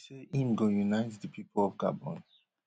e say im go unite di pipo of gabon